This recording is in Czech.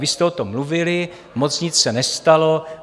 Vy jste o tom mluvili, moc nic se nestalo.